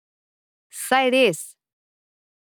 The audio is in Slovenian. Saj res.